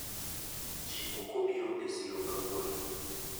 ji okobiro e siro kawuono